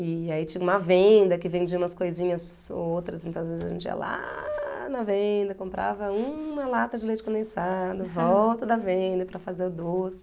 E aí tinha uma venda que vendia umas coisinhas outras, então às vezes a gente ia lá na venda, comprava uma lata de leite condensado, volta da venda para fazer o doce.